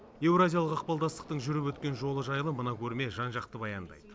еуразиялық ықпалдастықтың жүріп өткен жолы жайлы мына көрме жан жақты баяндайды